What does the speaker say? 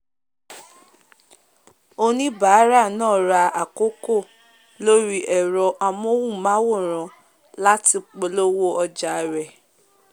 oníbàárà náà ra àkokò lórí ẹ̀rọ amóhùnmáwòrán láti polówó òjà rẹ̀